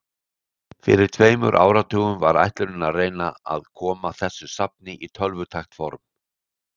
Fyrir um tveimur áratugum var ætlunin að reyna að koma þessu safni í tölvutækt form.